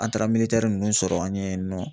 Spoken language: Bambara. An taara ninnu sɔrɔ an ɲɛ ye nɔ